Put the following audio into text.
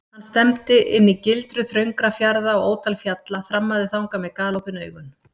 Hann stefndi inn í gildru þröngra fjarða og ótal fjalla, þrammaði þangað með galopin augun.